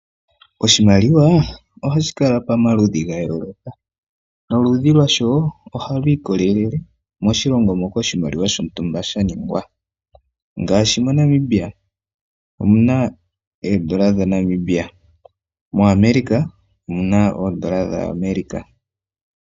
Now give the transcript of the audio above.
Oshimaliwa ohashi kala pamaludhi ga yooloka noludhi lwasho ohalu ikolele moshilongo moka oshimaliwa shontumba sha ningwa ngaashi moNamibia omuna oondola dhaNamibia, moAmerica omuna oondola dhaAmerica.